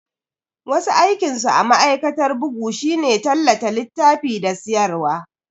Wasu aikinsu a ma'aikatar bugu shine tallata littafi da siyarwa.